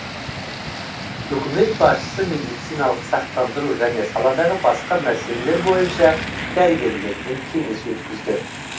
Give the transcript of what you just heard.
үкімет басшысы медициналық сақтандыру және саладағы басқа мәселелер бойынша дәрігерлермен кеңес өткізді